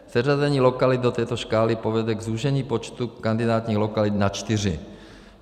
Seřazení lokalit do této škály povede k zúžení počtu kandidátních lokalit na čtyři.